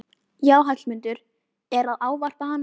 Já, Hallmundur er að ávarpa hana!